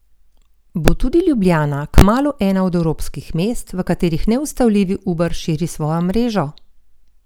Bo tudi Ljubljana kmalu ena od evropskih mest, v katerih neustavljivi Uber širi svojo mrežo?